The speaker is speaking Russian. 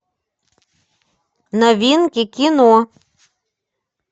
новинки кино